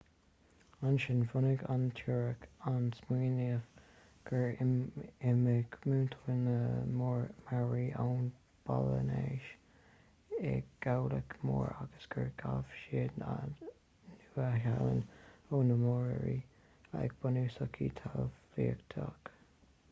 ansin bhunaigh an teoiric an smaoineamh gur imigh muintir na maori ón bpolainéis i gcabhlach mór agus gur ghabh siad an nua-shéalainn ó na moriori ag bunú sochaí talmhaíochta